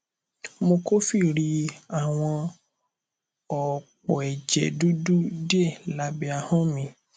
mo kófìrí àwọn òpó ẹjẹ dúdú díẹ lábẹ ahọn mí